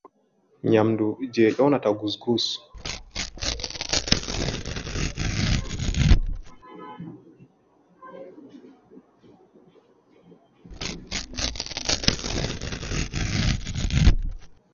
Nyamndu, jey nyoonata gusgus.